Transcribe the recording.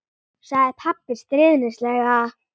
sagði pabbi stríðnislega.